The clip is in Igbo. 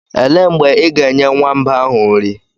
Elee mgbe ị ga-enye nwamba ahụ nri?